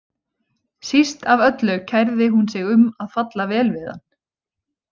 Síst af öllu kærði hún sig um að falla vel við hann.